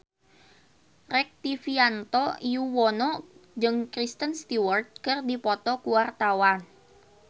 Rektivianto Yoewono jeung Kristen Stewart keur dipoto ku wartawan